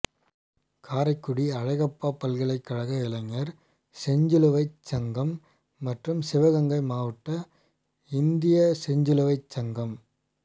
காரைக்குடி அழகப்பா பல்கலைக்கழக இளைஞா் செஞ்சிலுவைச் சங்கம் மற்றும் சிவகங்கை மாவட்ட இந்திய செஞ்சிலுவைச் சங்கம்